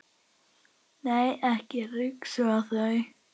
Nei, ekki ryksuga þau.